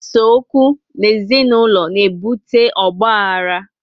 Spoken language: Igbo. Ise okwu n'ezi naulọ na ebute ọgbaghara